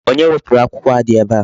Onye wepụrụ akwụkwọ a dị ebe a?